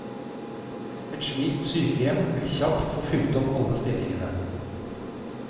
Et slikt sykehjem vil kjapt få fylt opp alle stillingene.